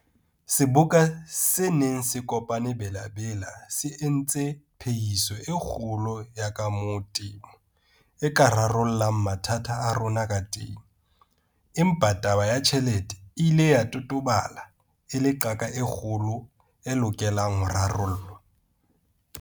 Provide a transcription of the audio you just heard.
Seboka se neng se kopane Bela-Bela se entse phehiso e kgolo ya ka moo temo e ka rarollang mathata a rona ka teng, empa taba ya tjhelete e ile ya totobala e le qaka e kgolo e lokelang ho rarollwa.